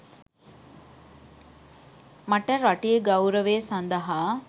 මට රටේ ගෞරවය සඳහා